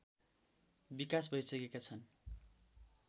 विकास भइसकेका छन्